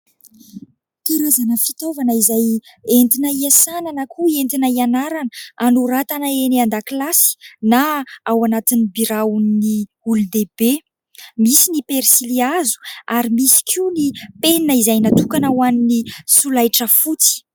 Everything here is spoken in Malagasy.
terezana fitaovana izay entrinao hiasanana koa entina hianarana anoratana eny an-dakilasy na ao anatin'ny biraon'ny olombeibe misy ny persilia azo ary misy koa ny mpenina izay natokana ho an'ny solahitra fotsy